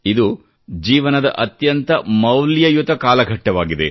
ಇದು ಜೀವನದ ಅತ್ಯಂತ ಮೌಲ್ಯಯುತ ಕಾಲಘಟ್ಟವಾಗಿದೆ